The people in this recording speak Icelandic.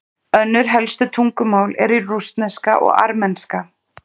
Önnur helstu tungumál eru rússneska og armenska.